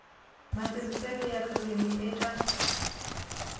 matirhiselo ya ririmi eka